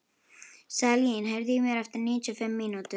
Salín, heyrðu í mér eftir níutíu og fimm mínútur.